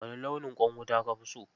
Wane launin ƙwan wuta ka fi so?